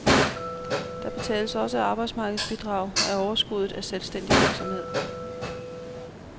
Der betales også arbejdsmarkedsbidrag af overskuddet af selvstændig virksomhed.